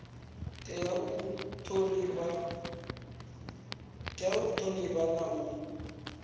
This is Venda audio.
tea u thonifhiwa na u